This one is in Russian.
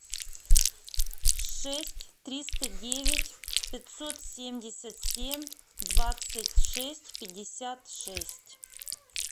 шесть триста девять пятьсот семьдесят семь двадцать шесть пятьдесят шесть